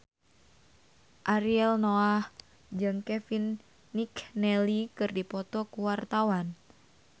Ariel Noah jeung Kevin McNally keur dipoto ku wartawan